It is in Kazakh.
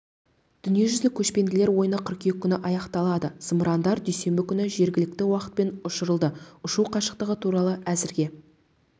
дүниежүзілік көшпенділер ойыны қыркүйек күні аяқталады зымырандар дүйсенбі күні жергілікті уақытпен ұшырылды ұшу қашықтығы туралы әзірге